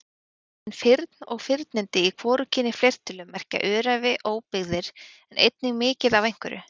Orðin firn og firnindi í hvorugkyni fleirtölu merkja öræfi, óbyggðir en einnig mikið af einhverju.